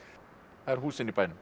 það eru húsin í bænum